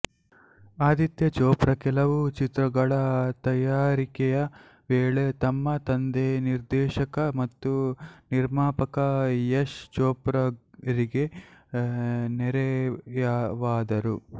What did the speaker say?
ಆದಿತ್ಯ ಚೋಪ್ರಾ ಕೆಲವು ಚಿತ್ರಗಳ ತಯಾರಿಕೆಯ ವೇಳೆ ತಮ್ಮ ತಂದೆ ನಿರ್ದೇಶಕ ಮತ್ತು ನಿರ್ಮಾಪಕ ಯಶ್ ಚೋಪ್ರಾರಿಗೆ ನೆರವಾದರು